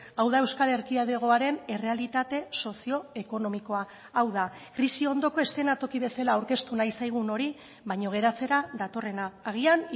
hau da euskal erkidegoaren errealitate sozio ekonomikoa hau da krisi ondoko eszenatoki bezala aurkeztu nahi zaigun hori baina geratzera datorrena agian